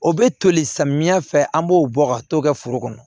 O bɛ toli samiyɛ fɛ an b'o bɔ ka t'o kɛ foro kɔnɔ